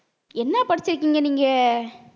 என்ன படிச்சிருக்கீங்க நீங்க